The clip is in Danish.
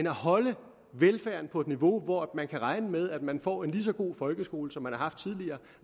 holde velfærden på et niveau hvor man kan regne med at man får en lige så god folkeskole som man har haft tidligere